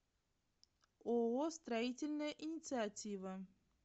ооо строительная инициатива